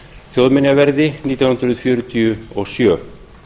þjóðminjaverði nítján hundruð fjörutíu og sjö